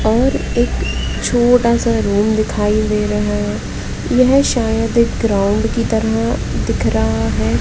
और एक छोटा सा रूम दिखाई दे रहा है यह शायद एक ग्राउंड की तरह दिख रहा है।